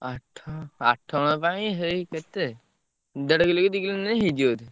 ଆଠ ଆଠ ଜଣଙ୍କ ପାଇଁ ହେଇ କେତେ ଦେଢକିଲ କି ଦିକିଲ ଅନିନେ ହେଇଯିବ ବୋଧେ।